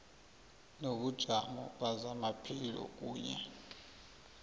nobujamo bezamaphilo kunye